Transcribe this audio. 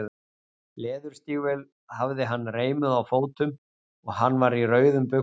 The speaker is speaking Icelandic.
Leðurstígvél hafði hann reimuð á fótum og hann var í rauðum buxum.